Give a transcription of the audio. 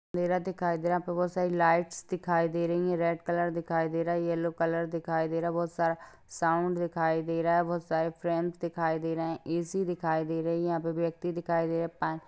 अंधेरा दिखाई दे रहा है यहाँ पे बहुत सारी लाइट्स दिखाई दे रही है रेड कलर दिखाई दे रहा है येलो कलर दिखाई दे रहा है बहुत सारा साउंड दिखाई दे रहा है बहुत सारे फ्रेम्स दिखाई दे रहे है ए_सी दिखाई दे रही है यहाँ पर व्यक्ति दिखाई दे रहे है--